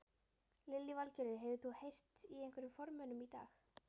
Lillý Valgerður: Hefur þú heyrt í einhverjum formönnum í dag?